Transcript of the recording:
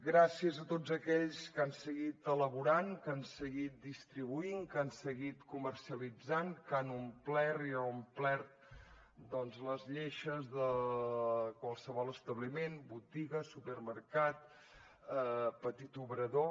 gràcies a tots aquells que han seguit elaborant que han seguit distribuint que han seguit comercialitzant que han omplert i reomplert doncs les lleixes de qualsevol establiment botiga supermercat petit obrador